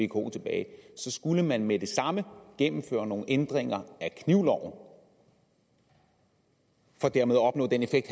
vko tilbage så skulle man med det samme gennemføre nogle ændringer af knivloven for dermed at opnå den effekt